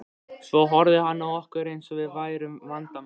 Svo horfði hann á okkur eins og við værum vandamálið.